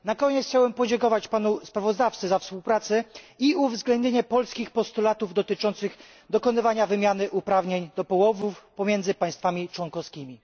Na koniec chciałbym podziękować panu sprawozdawcy za współpracę i uwzględnienie polskich postulatów dotyczących dokonywania wymiany uprawnień do połowów pomiędzy państwami członkowskimi.